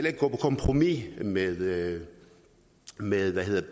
ikke gå på kompromis med med